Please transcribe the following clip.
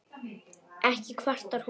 Ekki kvartar hún